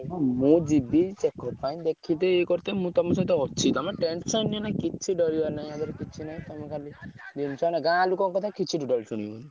ହଁ ମୁଁ ଯିବି ସେ ମୁଁ ତମ ସହିତ ଅଛି ତମେ tension ନିଅନି କିଛି ଡରିବାରେ ନାହିଁ ୟାଧେରେ କିଛି ନାହିଁ ତମେ ଖାଲି ଗାଁ ଲୋକଙ୍କ କଥା କିଛି totally ଶୁଣିବନି।